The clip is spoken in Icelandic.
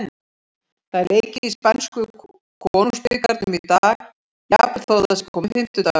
Það er leikið í spænsku Konungsbikarnum í dag, jafnvel þótt það sé kominn fimmtudagur.